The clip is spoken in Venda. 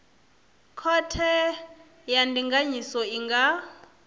khothe ya ndinganyiso i nga